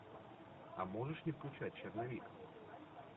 а можешь не включать черновик